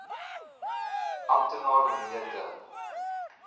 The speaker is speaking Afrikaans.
amptenaar mnr de